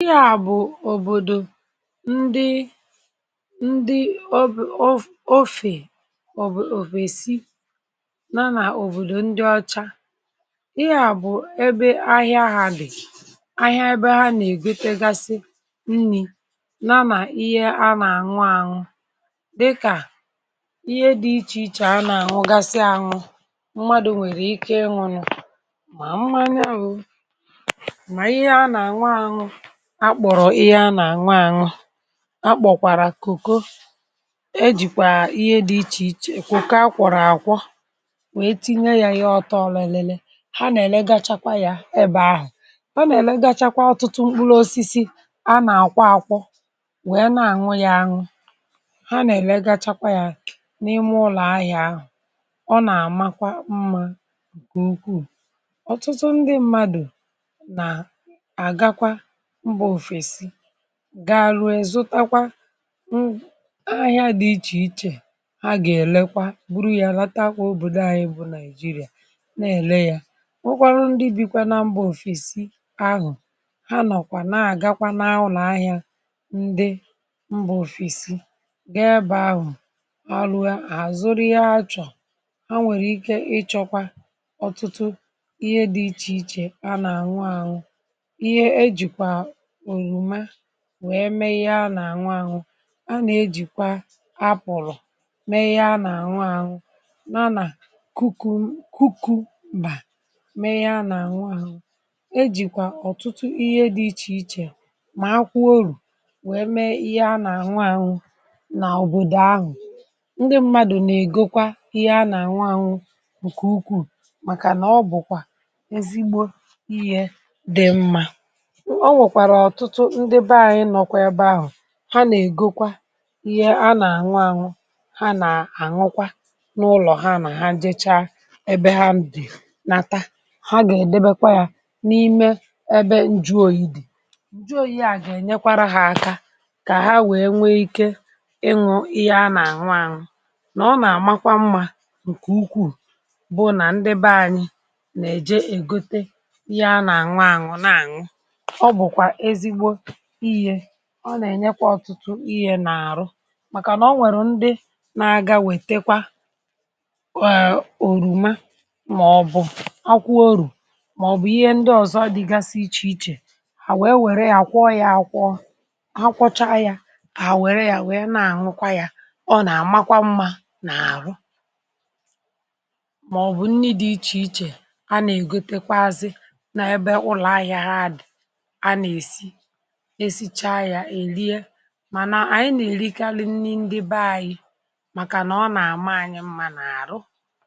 ihe à bụ̀ òbòdò ndị ndị ọbù̇ ofè obìòfèsi nana òbòdò ndị ọcha eh ihe à bụ̀ ebe ahịa ha lèè ahịa ebe ha nèggo tegasi nri nà nà ihe anà-àṅụ àṅụ dịkà ihe dị̇ ichè ichè a nà-àṅụgasị anwụ mmadụ̇ nwèrè ike ịnwụ̇ nụ̇ mà mmanụụ akpọ̀rọ̀ ihe a nà-ànwa ànwa akpọ̀kwàrà kòko eh e jìkwà ihe dị̇ ichè ichè kòko a kwọ̀rọ̀ àkwọ wèe tinye yȧ ihe ọtọ lèle ha nà-èl ga chakwa yȧ ebė ahụ̀ ha nà-èlegagagagwa ọtụtụ mkpụlọ̇ osisi a nà-àkwa àkwọ wèe na-ànwụ yȧ anwụ ha nà-èlegagwa yȧ n’ime ụlọ̀ ahịȧ ọ nà-àmakwa mmȧ gèukwuù ọtụtụ ndị mmadụ̀ nà àgakwa ga arụ ezùtakwa ahịa dị ichèichè ha gà-èlekwa buru ya lata kwa obodo ànyị bụ nàịjirịà nà-èle ya nwekwarụ ndị bi kwa nà mba òfèsi ahụ̀ ha nọ̀kwa na-àgakwa na-awụ̇ n’ahịa ndị mbà òfèsi ga-ebà ahụ̀ arụ ya àzụrị ha achọ̀ ha nwèrè ike ịchọ̇kwa ọ̀tụtụ ihe dị ichèichè a nà-àṅụ àṅụ wee mee ihe a nà-àñụ àñụ a nà-ejìkwa a apụ̀lọ̀ mee ihe a nà-àñụ àṅụ na na kuku kuku mà mee ihe a nà-àñụ àṅụ ejìkwa ọ̀tụtụ ihe dị̇ ichè ichè mà akwụ orù wee mee ihe a nà-àñụ àṅụ n’òbòdò ahụ um ndị mmadù nà-ègokwa ihe a nà-àñụ àṅụ ǹkè ukwuù màkànà ọ bụ̀kwà ezigbo ihe dị̀ mmȧ ha nà-ègokwa ihe a nà-ànwa ànwụ ha nà-àñụkwa n’ụlọ̀ ha nà ha jecha ebe ha ndị̀ nàta ha gà-èdebekwa ya n’ime ebe njuòyì dì njụọ ihe a gà-ènyekwara hȧ aka kà ha wèe nwee ike ịṅụ̇ ihe a nà-àṅwa àṅụ nà ọ nà-àmakwa mmȧ ǹkè ukwuù bụ̀ nà ndị be anyị nà-èje ègote ihe a nà-àṅwa àṅụ na-àṅụ ihè ọ nà-ènyekwa ọ̀tụtụ ihè nà-àrụ màkà nà ọ nwèrè ndị na-agȧwètekwa òrùma màọ̀bụ̀ akwụ orù màọ̀bụ̀ ihe ndị ọ̀zọ dịgasị ichè ichè à wèe wère ya àkwọ ya àkwọ akwụcha ya à wère ya wèe na-àhụkwa ya ọ nà-àmakwa mmȧ nà-àrụ màọ̀bụ̀ nni dị̇ ichè ichè a nà-ègotekwa azị na ebe ụlọ̀ ahịȧ ha adị̀ a nà-èsi mànà ànyị nà-eli ike alị nni ndị be anyị màkànà ọ nà-àma anyị mma n’àrụ um.